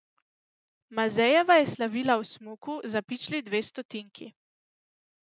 Mazejeva je slavila v smuku za pičli dve stotinki.